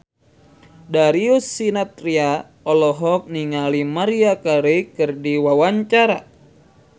Darius Sinathrya olohok ningali Maria Carey keur diwawancara